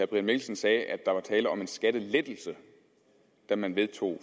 brian mikkelsen sagde at der var tale om en skattelettelse da man vedtog